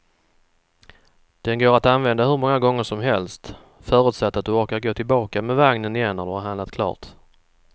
Den går att använda hur många gånger som helst, förutsatt att du orkar gå tillbaka med vagnen igen när du har handlat klart.